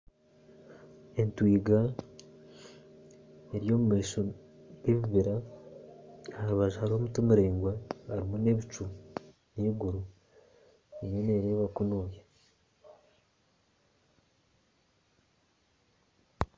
Entwiga eri omumaisho g'ebibira aharubaju haruho omuti miraingwa harumu n'ebicu n'iguru erumu nereba kunuya.